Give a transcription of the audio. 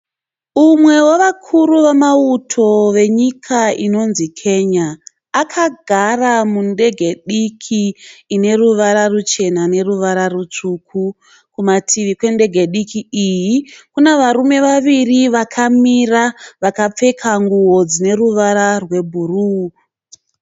umwe vevakuru vemauto venyika inonzi Kenya akagara mundege diki ineruvara ruchena neruvara rutsvuku kumativi kwendege diki iyi kune varume waviri vakamira vakapfeka nguvo dzine ruvara rwebhuruu